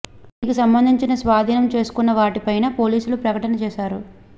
దీనికి సంబంధించిన స్వాధీనం చేసుకున్న వాటి పైన పోలీసులు ప్రకటన చేసారు